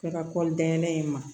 Kɛra kɔli dɛn in ma